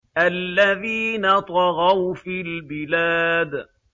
الَّذِينَ طَغَوْا فِي الْبِلَادِ